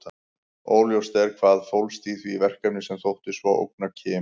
Óljóst er hvað fólst í því verkefni sem þótti svo ógna Kim.